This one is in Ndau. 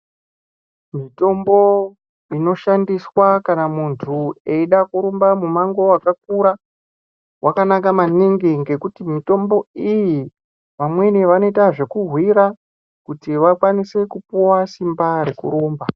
Mitombo inoshandiswa kana muntu eida kurumba mumango wakakura, wakanaka maningi ngekuti mitombo iyi vamweni vanoita zvekuhwira kuti vakwanise kupuwa simba rekurumba.